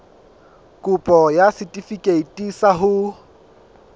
kopo ya setefikeiti sa ho